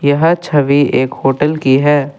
यह छवि एक होटल की है।